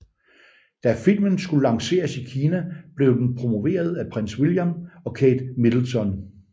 Da filmen skulle lanceres i Kina blev den promoveret af Prins William og Kate Middleton